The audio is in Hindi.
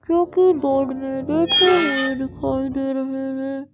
जो की बोर्ड मै देखे हुये दिखाई दे रहे है।